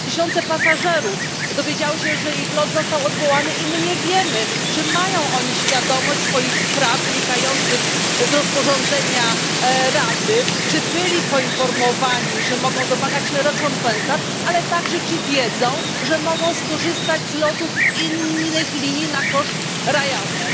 Tysiące pasażerów dowiedziało się, że ich lot został odwołany, i nie wiemy, czy są oni świadomi swoich praw wynikających z rozporządzenia Rady, czy zostali poinformowani, że mogą domagać się rekompensat oraz czy wiedzą, że mogą skorzystać z lotów innych linii na koszt Ryanair.